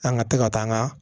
An ka tɛ ka taa an ka